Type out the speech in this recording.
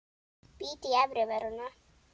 Bít í efri vörina.